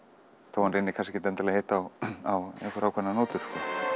þó hann reyni kannski ekki að hitta á einhverjar ákveðnar nótur